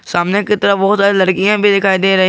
सामने की तरफ बहुत सारी लड़कियां भी दिखाई दे रही--